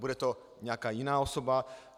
Bude to nějaká jiná osoba?